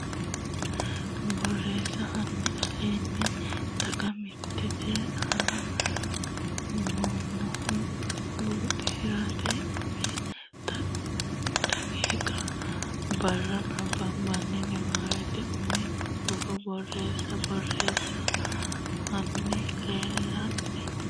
Borreessa hanni aleenni taqa mittette aana nummoha buuxi rate umi daqiiqa barra nabbabbini niwaaweta umi gufo Borreessa Borreessa hanni aleenni.